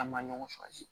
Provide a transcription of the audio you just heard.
An ma ɲɔgɔn